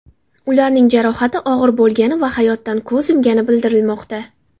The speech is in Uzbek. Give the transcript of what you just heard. Ularning jarohati og‘ir bo‘lgani va hayotdan ko‘z yumgani bildirilmoqda.